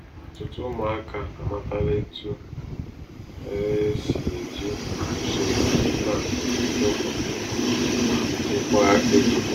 ọtụtụ ụmụaka amatala etu um e si e ji usoro piggy bank edokọ ma chekwaa ego.